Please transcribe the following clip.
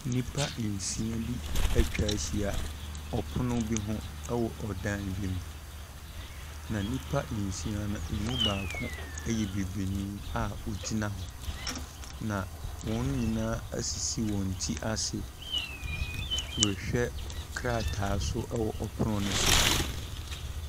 Nipa nsia bi etwa ehyia ɔpono bi ho ɛwɔ ɔdan bi mu. Na nipa nsia no emu baako ɛyɛ bibinii a ogyina hɔ. Na wɔn nyinaa esisi wɔn ti ase rehwɛ krataa so ɛwɔ ɔpono ne so.